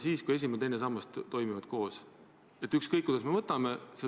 Teie sotsiaalministrina peaksite toimuva pärast eriti mures olema.